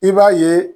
I b'a ye